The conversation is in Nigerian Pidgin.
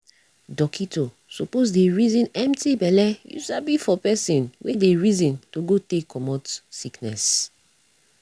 dockito suppos dey reson empti belle u sabi for pesin wey dey reson to go take comot sickiness